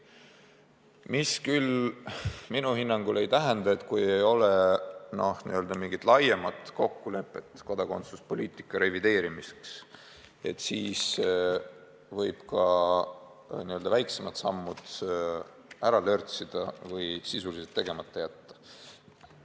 Mis küll minu hinnangul ei tähenda, et kui ei ole mingit laiemat kokkulepet kodakondsuspoliitika revideerimiseks, siis võib ka n-ö väiksemad sammud ära lörtsida või sisuliselt tegemata jätta.